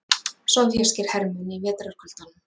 Sovéskir hermenn í vetrarkuldanum.